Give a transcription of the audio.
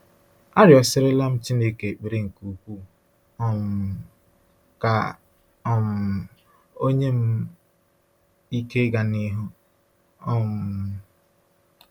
Arịọsirila m Chineke ekpere nke ukwuu um ka um o nye m ike ịga n’ihu. um